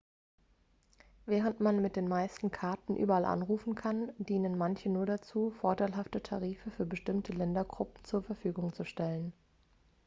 während man mit den meisten karten überall anrufen kann dienen manche nur dazu vorteilhafte tarife für bestimmte ländergruppen zur verfügung zu stellen